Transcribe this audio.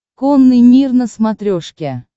конный мир на смотрешке